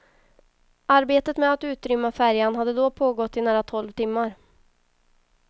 Arbetet med att utrymma färjan hade då pågått i nära tolv timmar.